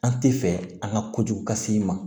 An tɛ fɛ an ka kojugu ka se i ma